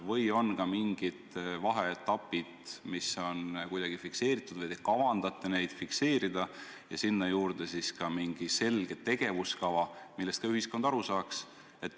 Kas on ka mingid vaheetapid, mis on kuidagi fikseeritud, või te kavandate neid fikseerida ja sinna juurde siis ka mingi selge tegevuskava, millest kogu ühiskond aru saaks?